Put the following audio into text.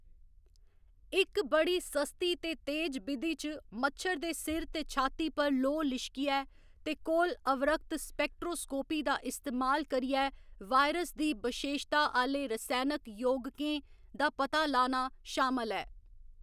इक बड़ी सस्ती ते तेज बिधि च मच्छर दे सिर ते छाती पर लोऽ लिश्कियै ते कोल अवरक्त स्पेक्ट्रोस्कोपी दा इस्तेमाल करियै वायरस दी बशेशता आह्‌‌‌ले रसैनक यौगकें दा पता लाना शामल ऐ।